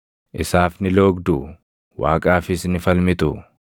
Isaaf ni loogduu? Waaqaafis ni falmituu?